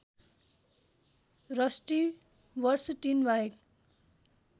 rusty बर्सटिनबाहेक